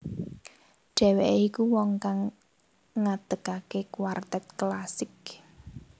Dheweke iku wong kang ngadekake kuartet klasik